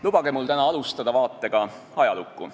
Lubage mul täna alustada vaatega ajalukku.